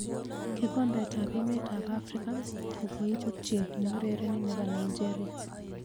Kikombet ab emet ab Afrika kokoibut chi neurereni nebo Nigeria.